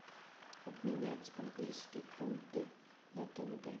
обменять английские фунты на тенге